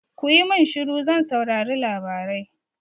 Kuyi min shiru zan saurari labarai!